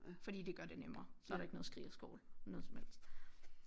Fordi det gør det nemmere så er der ikke noget skrig og skrål noget som helst